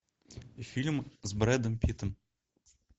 фильм с брэдом питтом